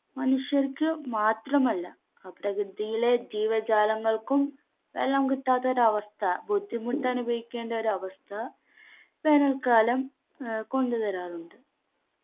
മനുഷ്യർക്ക് മാത്രമല്ല ആ പ്രകൃതിയിലെ ജീവജാലങ്ങൾക്കും വെള്ളം കിട്ടാത്തൊരു അവസ്ഥ ബുദ്ധിമുട്ട് അനുഭവിക്കേണ്ട ഒരവസ്ഥ വേനൽക്കാലം ഏർ കൊണ്ടുവരാറുണ്ട്